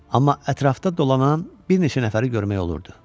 Amma ətrafda dolanan bir neçə nəfəri görmək olurdu.